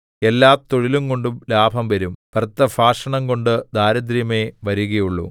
എല്ലാ തൊഴിലുംകൊണ്ട് ലാഭം വരും വ്യർത്ഥഭാഷണംകൊണ്ട് ദാരിദ്ര്യമേ വരുകയുള്ളു